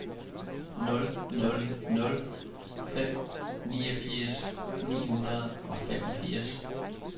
nul nul nul fem niogfirs ni hundrede og femogfirs